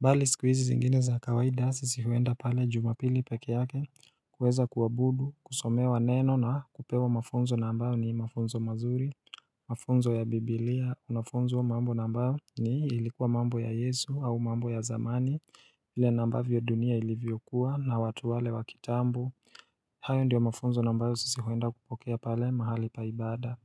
mbali sikuizi zingine za kawaida sisi huenda pale jumapili peke yake kuweza kuwabudu, kusomewa neno na kupewa mafunzo na ambao ni mafunzo mazuri Mafunzo ya biblia, unafunzo wa mambo na ambao ni ilikuwa mambo ya yesu au mambo ya zamani ile na ambavyo dunia ilivyokuwa na watu wale wakitambu hayo ndiyo mafunzo na ambao sisi huenda kupokea pale mahali pa ibada.